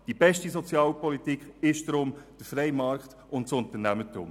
Die beste Sozialpolitik ist deshalb der freie Markt und das Unternehmertum.